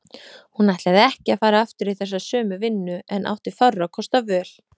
Hún ætlaði ekki að fara aftur í þessa sömu vinnu en átti fárra kosta völ.